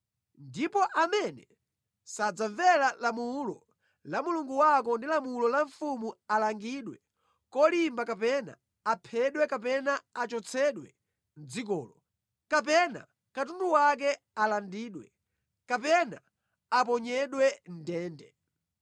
Ndipo amene sadzamvera lamulo la Mulungu wako ndi lamulo la mfumu alangidwe kolimba kapena aphedwe kapena achotsedwe mʼdzikolo, kapena katundu wake alandidwe, kapena aponyedwe mʼndende.